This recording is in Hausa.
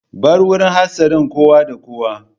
Bar wurin hatsarin, kowa da kowa!